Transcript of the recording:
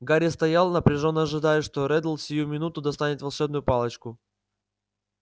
гарри стоял напряжённо ожидая что реддл сию минуту достанет волшебную палочку